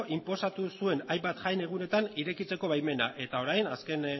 inposatu zuen hainbat jai egunetan irekitzeko baimena eta orain azken